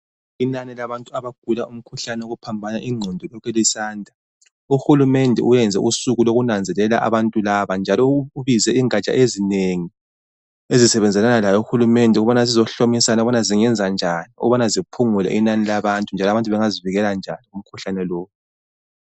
Inani labantu abagula umkhuhlane wokuphambana ingqondo lilokhe lisanda. Uhulumende uyenze usuku lokunanzelela abantu laba njalo ubize ingatsha ezinengi ezisebenzelana laye uhulumende ukubana zizohlomisana ukubana zingenza njani ukubana ziphungule inani labantu njalo abantu bangazivikela njani kumkhuhlane lo.